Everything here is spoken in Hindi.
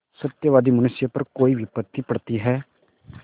सत्यवादी मनुष्य पर कोई विपत्त पड़ती हैं